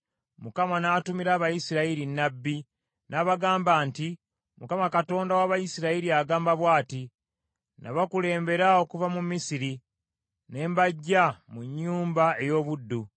Mukama , n’atumira Abayisirayiri Nnabbi, n’abagamba nti, “ Mukama Katonda w’Abayisirayiri agamba bw’ati: nabakulembera okuva mu Misiri, ne mbaggya mu nnyumba ey’obuddu,